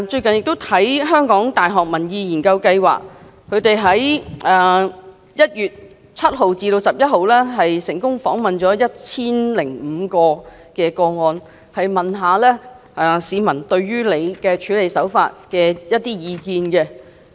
香港大學民意研究計劃在1月7日至11日成功訪問了 1,005 名市民對她處理此事的手法的意見。